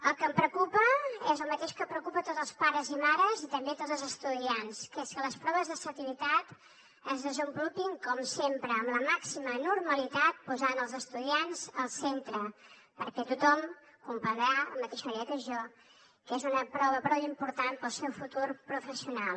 el que em preocupa és el mateix que preocupa a tots els pares i mares i també a tots els estudiants que és que les proves de selectivitat es desenvolupin com sempre amb la màxima normalitat posant els estudiants al centre perquè tothom comprendrà de la mateix manera que jo que és una prova prou important per al seu futur professional